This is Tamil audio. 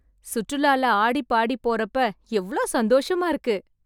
சுற்றுலால ஆடி பாடி போறப்ப எவ்ளோ சந்தோஷமா இருக்கு